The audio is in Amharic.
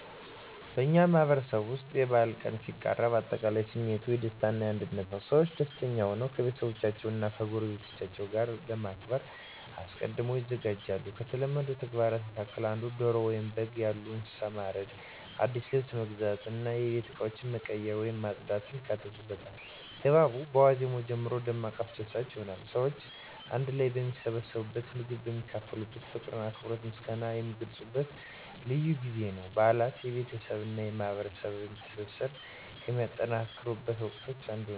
በእኛ ማህበረሰብ ውስጥ የበዓል ቀን ሲቃረብ አጠቃላይ ስሜቱ የደስታ እና የአንድነት ነው። ሰዎች ደስተኛ ሆነው ከቤተሰቦቻቸው እና ከጎረቤቶቻቸው ጋር ለማክበር አስቀድመው ይዘጋጃሉ። ከተለመዱት ተግባራት መካከል እንደ ዶሮ ወይም በግ ያሉ እንስሳትን ማረድ፣ አዲስ ልብስ መግዛት እና የቤት እቃዎችን መቀየር ወይም ማጽዳት ያካትታሉ። ድባቡ በዋዜማው ጀምሮ ደማቅ አስደሳች ይሆናል። ሰዎች አንድ ላይ የሚሰባሰቡበት፣ ምግብ የሚካፈሉበት፣ ፍቅርን፣ አክብሮትንና ምስጋናን የሚገልጹበት ልዩ ጊዜ ነው። በዓላት የቤተሰብ እና የማህበረሰብ ትስስርን ከሚጠናከሩበት ወቅቶች አንዱ ነው።